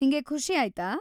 ನಿಂಗೆ ಖುಷಿ ಆಯ್ತಾ?